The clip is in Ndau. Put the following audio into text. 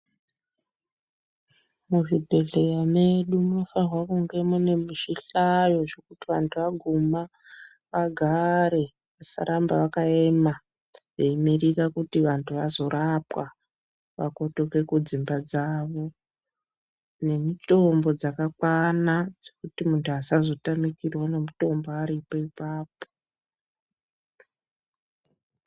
Muzvibhedhleya mwedu munofanirwa kunge mune zvihlayo zvekuti vantu vaguma vagare vasaramba vakaema veimirira kuti vantu vazorapwa vakotoke kudzimba dzavo nemitombo dzakakwana dzekuti muntu asazotame mitombo aripo pona apapo.